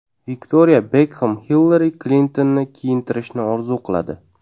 Viktoriya Bekxem Xillari Klintonni kiyintirishni orzu qiladi.